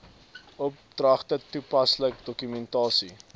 opdragte toepaslike dokumentasie